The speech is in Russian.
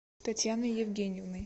татьяной евгеньевной